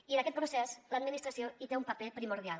i en aquest procés l’administració hi té un paper primordial